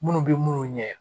Munnu be munnu ɲɛ